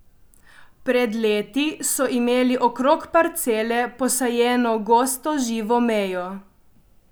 Pred leti so imeli okrog parcele posajeno gosto živo mejo.